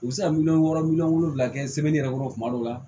U bɛ se ka miliyɔn wɔɔrɔ miliyɔn wolonvila kɛ yɛrɛ kɔrɔ kuma dɔw la